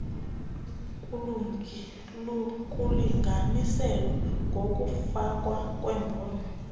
kulinganiselwa ngokokufakwa kwembono